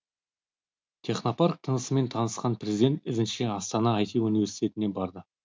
технопарк тынысымен танысқан президент ізінше астана ай ти университетіне барды